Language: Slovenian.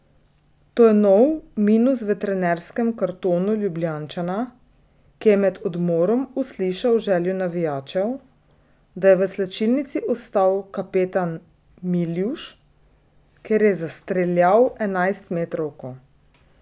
To je nov minus v trenerskem kartonu Ljubljančana, ki je med odmorom uslišal željo navijačev, da je v slačilnici ostal kapetan Miljuš, ker je zastreljal enajstmetrovko.